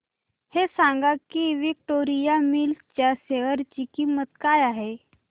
हे सांगा की विक्टोरिया मिल्स च्या शेअर ची किंमत काय आहे